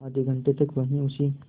आधे घंटे तक वहीं उसी